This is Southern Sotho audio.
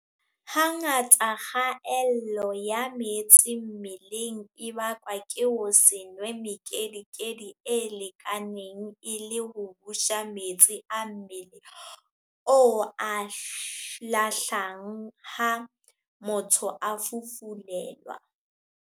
Hangata kgaello ya metsi mmeleng e bakwa ke ho se nwe mekedikedi e lekaneng e le ho busa metsi a mmele o a lahlang ha motho a fufule-lwa.